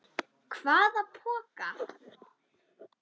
Hvaða poka?